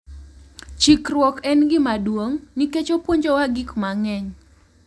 Chikruok en gima duong’ nikech opuonjowa gik mang’eny.